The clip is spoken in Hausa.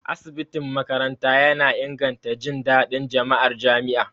Asibitin makaranta yana inganta jin daɗin jama'ar jami'a.